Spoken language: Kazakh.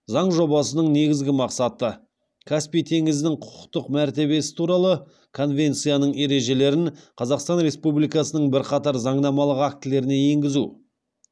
заң жобасының негізгі мақсаты каспий теңізінің құқықтық мәртебесі туралы конвенцияның ережелерін қазақстан республикасының бірқатар заңнамалық актілеріне енгізу